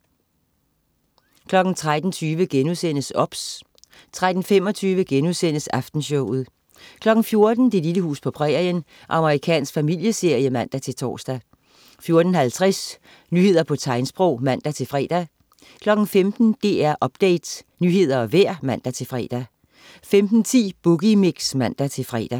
13.20 OBS* 13.25 Aftenshowet* 14.00 Det lille hus på prærien. Amerikansk familieserie (man-tors) 14.50 Nyheder på tegnsprog (man-fre) 15.00 DR Update. Nyheder og vejr (man-fre) 15.10 Boogie Mix (man-fre)